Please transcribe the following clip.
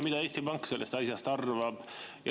Mida Eesti Pank sellest asjast arvab?